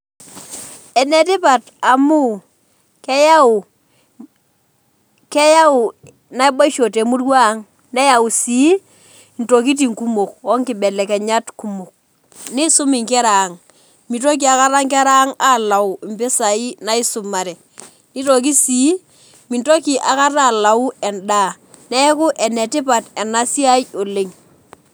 Enetipat amu keyau, keyau naboisho temurua ang, neyau sii ntokitin kumok onkibelekenyat kumok, nisum inkera ang , mitoki aekata nkera ang alau mpisai naisumare, nitoki sii , mintoki akata alau endaa , neeku enetipat enasiai oleng.